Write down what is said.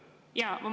Jaa.